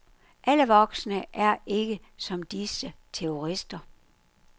Alle voksne er ikke som disse terrorister.